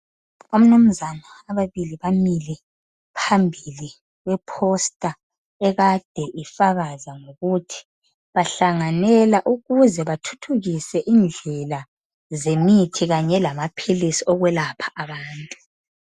Omnumzana ababili bamile phambili kweposter ekade ifakaza ukuthi bahlanganela ukuze bathuthukise indlela zemithi .Kanye lamaphilisi okwelapha abantu .